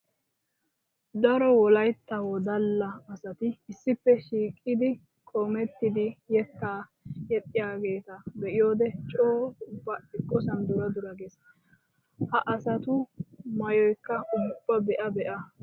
Daro wolaytta wodalla asatti issippe shiiqiddi qoomettiddi yetta yexxiyagetta be'iyodde coo ubba eqqosan dura dura geesi! Ha asattu maayoyikka ubba be'a be'a geesi!